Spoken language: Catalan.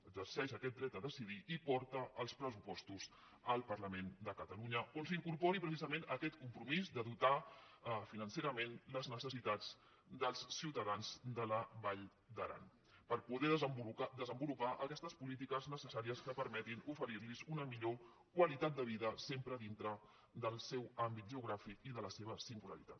exerceix aquest dret a decidir i porta els pressupostos al parlament de catalunya on s’incorpori precisament aquest compromís de dotar financerament les necessitats dels ciutadans de la vall d’aran per poder desenvolupar aquestes polítiques necessàries que permetin oferir los una millor qualitat de vida sempre dintre del seu àmbit geogràfic i de la seva singularitat